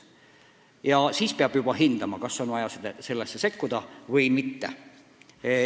Ja siis peab juba hindama, kas on vaja sellesse sekkuda või mitte.